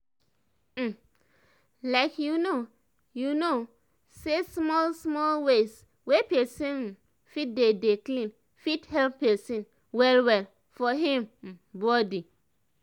um like you know you know say small small ways wey pesin um fit dey dey clean fit help pesin well well for him um body